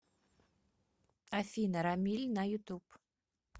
афина рамиль на ютуб